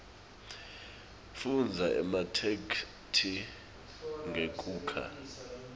fundza ematheksthi ngekukha